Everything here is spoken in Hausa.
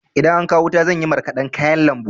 Idan an kawo wuta zan yi marƙadan kayan lambu.